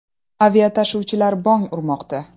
Aviatashuvchilar bong urmoqda.